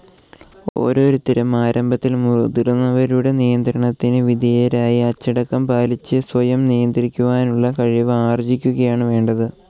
ഓരോരുത്തരും ആരംഭത്തിൽ മുതിർന്നവരുടെ നിയന്ത്രണത്തിന് വിധേയരായി അച്ചടക്കം പാലിച്ച് സ്വയം നിയന്ത്രിക്കുവാനുളള കഴിവ് ആർജിക്കുകയാണ് വേണ്ടത്.